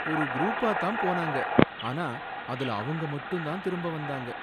ஒரு குரூப்பா தான் போனாங்க, ஆனா அதுல அவங்க மட்டும் தான் திரும்ப வந்தாங்க